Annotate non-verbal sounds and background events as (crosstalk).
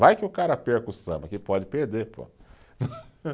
Vai que o cara perca o samba, que pode perder, pô. (laughs)